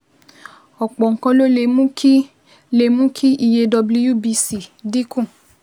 Ọ̀pọ̀ nǹkan ló lè mú kí lè mú kí iye WBC dín kù